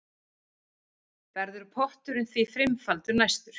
Verður potturinn því fimmfaldur næst